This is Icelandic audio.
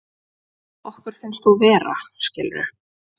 Okkur finnst þú vera, skilurðu.